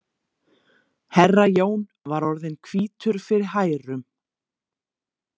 Herra Jón var orðinn hvítur fyrir hærum.